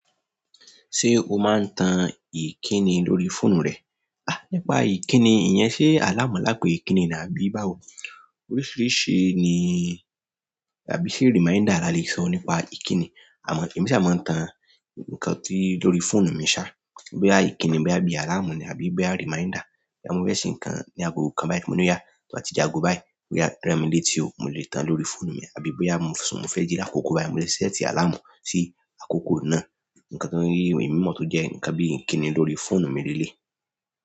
Ṣé o máa ń tan ìkíni lórí fóònù rẹ? Ah, nípa ìkíni, ìyẹn ṣe àláàmú láá pe kiní ni àbí báwo? Oríṣìíríṣìí ni, àbí ṣe reminder la le sọ nípa ìkíni. Àmọ̀, èmi ṣà máa ń tan nǹkan tí lórí fóònù mi ṣá. Bóyá àkíni bóyá bí àláàmù ní àbí bí reminder. Bí mo fẹ́ ṣe nǹkan ní ago kan báyìí, mo ní ó yá. Mo ti jagun báyìí, bóyá rán mi létí o, mo lè tan lórí fóònù mi. Àbí bóyá sùn, mo fẹ́ jí lákòókò báyìí, mo lè sẹ́ẹ̀tì àlámú sí àkókò náà. Nǹkan tó ń rí ìwé mímọ́ tó jẹ́ nǹkan bí ìkíni lórí fóònù mi leléyì.